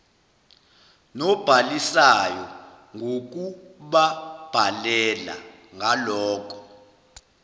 nobhalisayo ngokubabhalela ngaloko